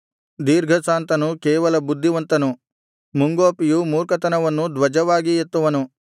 ದೀರ್ಘಶಾಂತನು ಕೇವಲ ಬುದ್ಧಿವಂತನು ಮುಂಗೋಪಿಯು ಮೂರ್ಖತನವನ್ನು ಧ್ವಜವಾಗಿ ಎತ್ತುವನು